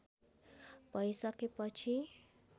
भै सके पछि